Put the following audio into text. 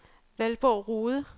Valborg Rohde